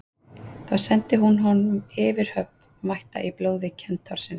Þá sendi hún honum yfirhöfn vætta í blóði kentársins.